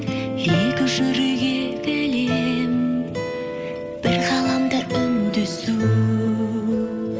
екі жүрек егіле бір ғаламда үндесу